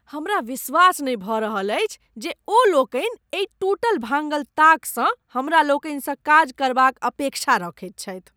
हमरा विश्वास नहि भऽ रहल अछि जे ओ लोकनि एहि टूटल भांगल ताकसँ हमरा लोकनिसँ काज करबाक अपेक्षा रखैत छथि ।